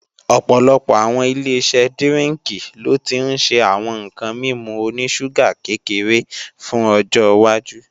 Ọ̀pọ̀lọpọ̀ àwọn Ileṣẹ́ dírínkì lo ti ń ṣe àwọn ǹkan mímu oní ṣúgà kékeré fún ọjọwájú